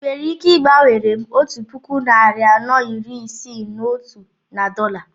I nwere ike igbanwere m otu puku narị anọ iri Isii na otu na dọla?